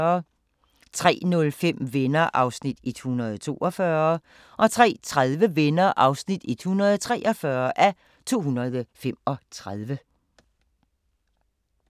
03:05: Venner (142:235) 03:30: Venner (143:235)